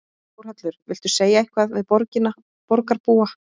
Þórhallur: Viltu segja eitthvað við borgina, borgarbúa?